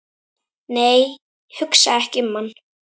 nei, hugsa ekki um hann!